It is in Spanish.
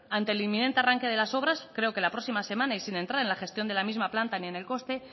ante el inminente arranque de las obras creo que la próxima semana y sin entrar en la gestión de la misma planta ni en el coste